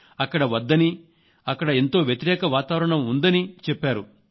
అక్కడ వద్దని అక్కడ ఎంతో వ్యతిరేక వాతావరణం ఉందని చెప్పారు